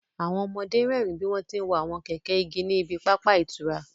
Àwọn ọmọdé ń rẹ́rìín bí wọ́n ti ń wa àwọn kẹ̀kẹ́ igi ní ibi pápá ìtura